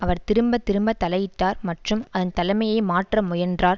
அவர் திரும்ப திரும்ப தலையிட்டார் மற்றும் அதன் தலைமையை மாற்ற முயன்றார்